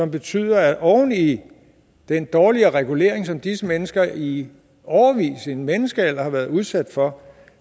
betyder at oven i den dårligere regulering som disse mennesker i årevis i en menneskealder har været udsat for